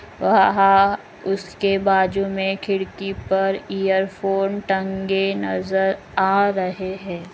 वहाँ उसके बाजू मे खिड़की पर इयरफोन टंगे नजर आ रहे है ।